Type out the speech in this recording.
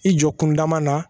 I jɔ kunda ma na